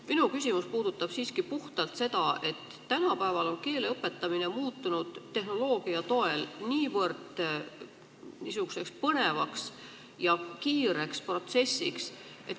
Minu küsimus puudutab siiski puhtalt seda, et tänapäeval on keele õpetamine muutunud tehnoloogia toel põnevaks ja kiireks protsessiks.